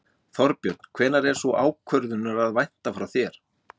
Þorbjörn: Hvenær er sú ákvörðunar að vænta frá þér?